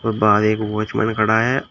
र बाहर एक वॉचमैन खड़ा है।